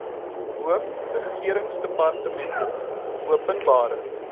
hoof regeringsdepartmente openbare